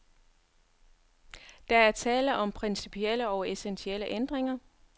Der er tale om principielle og essentielle ændringer.